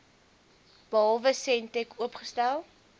behalwe sentech oopgestel